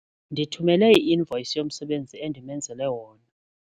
Ndithumele i-invoyisi yomsebenzi endimenzele wona.